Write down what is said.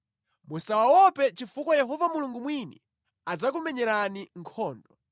Musawaope chifukwa Yehova Mulungu mwini adzakumenyerani nkhondo.”